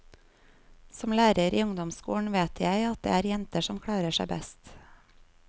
Som lærer i ungdomsskolen vet jeg at det er jenter som klarer seg best.